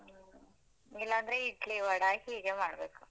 ಹ್ಮ. ಇಲ್ಲಾಂದ್ರೆ ಇಡ್ಲಿ ವಡಾ ಹೀಗೆ ಮಾಡ್ಬೇಕು.